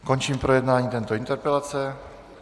Končím projednávání této interpelace.